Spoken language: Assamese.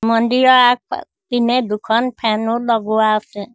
মন্দিৰৰ আগ ফা পিনে দুখন ফেন ও লগোৱা আছে।